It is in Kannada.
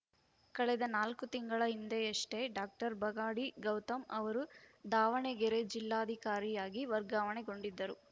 ಕಳೆದ ನಾಲ್ಕು ತಿಂಗಳ ಹಿಂದೆಯಷ್ಟೇ ಡಾಕ್ಟರ್ ಬಗಾಡಿ ಗೌತಮ್‌ ಅವರು ದಾವಣಗೆರೆ ಜಿಲ್ಲಾಧಿಕಾರಿಯಾಗಿ ವರ್ಗಾವಣೆಗೊಂಡಿದ್ದರು